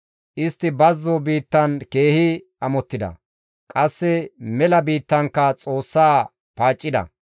Istti bazzo biittan keehi amottida; qasse mela biittankka Xoossa paaccida.